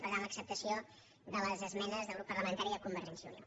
per tant l’acceptació de les esmenes del grup parlamentari de convergència i unió